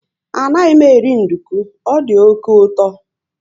Anaghị m eri nduku, ọ dị oké uto